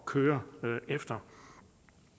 køre efter